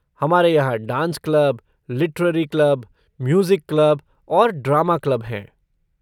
हमारे यहाँ dance club, literary club, music club और ड्रामा क्लब हैं।